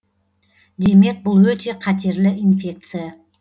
демек бұл өте қатерлі инфекция